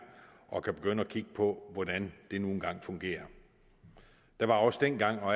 og kan begynde at kigge på hvordan de fungerer der var også dengang og